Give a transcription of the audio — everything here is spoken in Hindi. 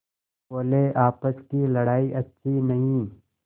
बोलेआपस की लड़ाई अच्छी नहीं